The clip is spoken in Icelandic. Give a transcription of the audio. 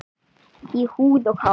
Í húð og hár.